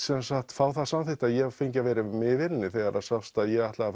fá það samþykkt að ég fengi að vera með í vélinni þegar það sást að ég ætlaði